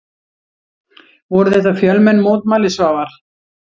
Voru þetta fjölmenn mótmæli Svavar?